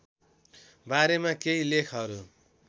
बारेमा केही लेखहरू